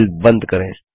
file बंद करें